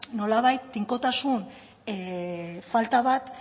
nolabait tinkotasun falta bat